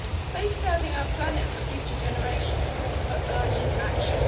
Safeguarding our planet for future generations calls for urgent action.